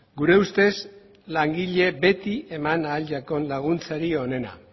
gure ustez langileari eman ahal zaion laguntzarik onena